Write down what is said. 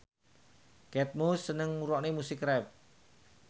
Kate Moss seneng ngrungokne musik rap